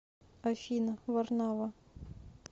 афина варнава